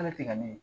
Ala tɛ ka ne ɲini